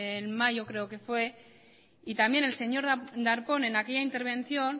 en mayo creo que fue y también el señor darpón en aquella intervención